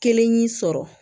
Kelen y'i sɔrɔ